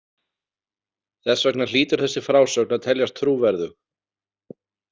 Þess vegna hlýtur þessi frásögn að teljast trúverðug.